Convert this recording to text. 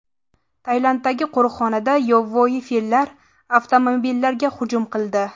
Tailanddagi qo‘riqxonada yovvoyi fillar avtomobillarga hujum qildi.